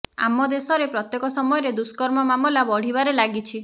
ଆମ ଦେଶରେ ପ୍ରତ୍ୟେକ ସମୟରେ ଦୁଷ୍କର୍ମ ମାମଲା ବଢିବାରେ ଲାଗିଛି